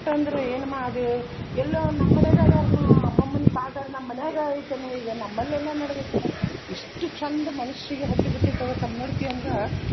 ಏನಮ್ಮ ಅದು ಎಲ್ಲೋ ನಮ್ಮ್ ಮನ್ಯಾಗ ಅದಾರ್ ಮಾ ಅಮ್ಮಮ್ಮನ ನಮ್ಮ್ ಮನ್ಯಾಗ ಐತೆನೊ ಈಗ ನಮ್ಮಲ್ಲೇನ ನಡೆದೈತೆನೊ ಇಷ್ಟು ಚಂದ ಮನಸ್ಸಿಗೆ ಹತ್ತಿ ಬಿಟ್ಟಿತ್ತ ಲ್ಲ ಕನ್ನಡತಿ ಅಂದ್ರ.